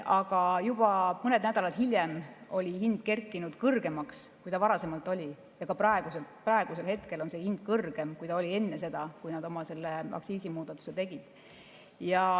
Aga juba mõned nädalad hiljem oli hind kerkinud kõrgemaks, kui ta oli varem ja ka praegusel hetkel on see hind kõrgem, kui ta oli enne seda, kui nad oma aktsiisimuudatuse tegid.